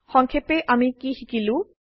সংক্ষেপে আমি কি শিকিলো